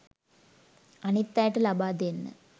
අනිත් අයට ලබා දෙන්න